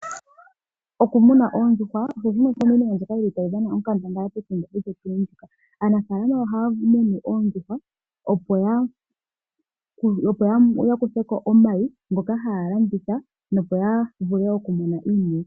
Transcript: Okumuna oondjuhwa aanafaalama ohaya munu oondjuhwa opo yakuthepo omayi ngoka haya landitha opo yavule okumona iiyemo